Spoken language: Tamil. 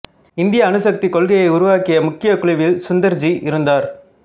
இந்திய அணுசக்தி கொள்கையை உருவாக்கிய முக்கிய குழுவில் சுந்தர்ஜி இருந்தார்